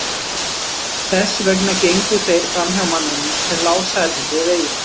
Þess vegna gengu þeir framhjá manninum sem lá særður við veginn.